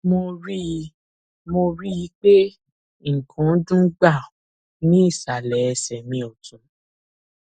mo rí i mo rí i pé nǹkan dún gbàù ní ìsàlẹ ẹsẹ mi ọtún